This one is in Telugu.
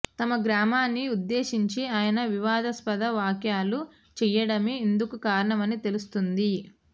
తమ గ్రామాన్ని ఉద్దేశించి ఆయన వివాదాస్పద వ్యాఖ్యలు చేయడమే ఇందుకు కారణమని తెలుస్తోంది